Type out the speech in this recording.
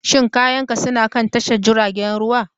Shin kayanka suna kan tashar jiragen ruwa?